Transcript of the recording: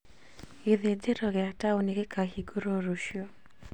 Gĩthĩnjĩro gĩa taũni gĩkahingũrwo rũciũ